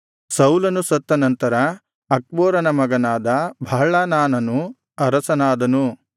ಸೌಲನು ಸತ್ತ ನಂತರ ಅಕ್ಬೋರನ ಮಗನಾದ ಬಾಳ್ಹಾನಾನನು ಅರಸನಾದನು